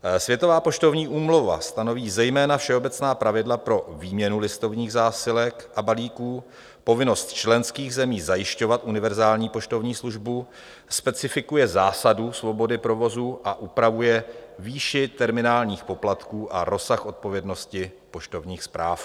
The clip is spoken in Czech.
Světová poštovní úmluva stanoví zejména všeobecná pravidla pro výměnu listovních zásilek a balíků, povinnost členských zemí zajišťovat univerzální poštovní službu, specifikuje zásadu svobody provozu a upravuje výši terminálních poplatků a rozsah odpovědnosti poštovních zpráv.